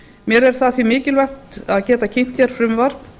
mér er það því mikilvægt að geta kynnt hér frumvarp